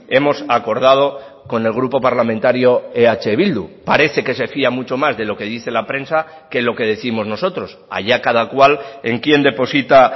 hemos acordado con el grupo parlamentario eh bildu parece que se fía mucho más de lo que dice la prensa que lo que décimos nosotros allá cada cual en quien deposita